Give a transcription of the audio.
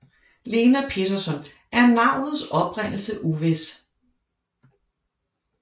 Lena Peterson er navnets oprindelse uvis